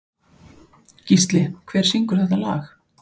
Gísli, hver syngur þetta lag?